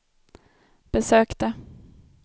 besökte